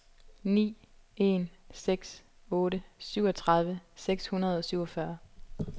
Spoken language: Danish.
ni en seks otte syvogtredive seks hundrede og syvogfyrre